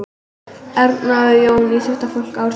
Erna og Jón íþróttafólk ársins